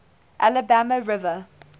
alabama river